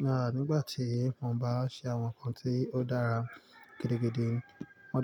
ń rà nígbà tí mo bá ń ṣe àwọn ǹkan tí ó dára gidigidi.